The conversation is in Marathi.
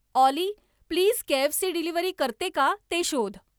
ऑली प्लीज केएफसी डिलिव्हरी करते का ते शोध